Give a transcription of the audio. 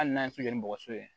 Hali n'an tɛ se ni bɔgɔso ye